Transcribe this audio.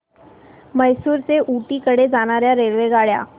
म्हैसूर ते ऊटी कडे जाणार्या रेल्वेगाड्या